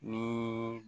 Ni